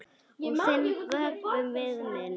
Og þinn vökvi við minn.